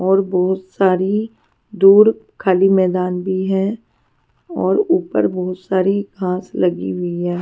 और बहुत सारी दूर खाली मैदान भी है और ऊपर बहुत सारी घास लगी हुई है.